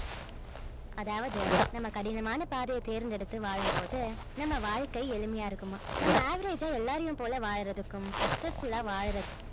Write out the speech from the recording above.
அதாவது நம்ம கடினமான பாதையை தேர்ந்தெடுத்து வாழும்போது நம்ம வாழ்க்கை எளிமையா இருக்குமாம் நம்ம average அ எல்லாரையும் போல வாழறதுக்கும் successful ஆ வாழறது~